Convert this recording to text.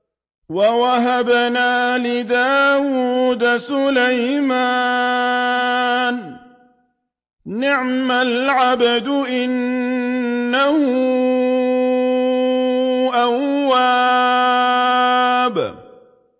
وَوَهَبْنَا لِدَاوُودَ سُلَيْمَانَ ۚ نِعْمَ الْعَبْدُ ۖ إِنَّهُ أَوَّابٌ